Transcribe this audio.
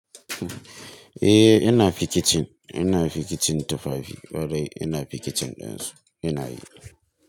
Eh ina fi kitchen, ina fi kitchen tufafi, ƙwarai ina fi kitchen ɗin su, ina yi.